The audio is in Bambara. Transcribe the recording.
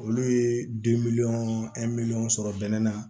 Olu ye den miliyɔn sɔrɔ bɛnɛ na